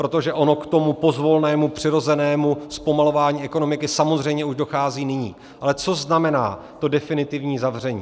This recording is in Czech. Protože ono k tomu pozvolnému, přirozenému zpomalování ekonomiky samozřejmě už dochází nyní, ale co znamená to definitivní zavření.